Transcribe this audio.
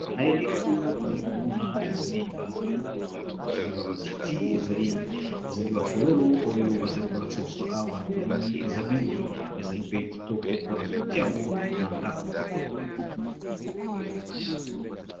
Na eleli oyo tozali komona ezali bamatiti ezali bafololo oyo bazali kolakisa biso awa tomoni eza mingi ezali pe kitoko mpona kotia yango na ndako.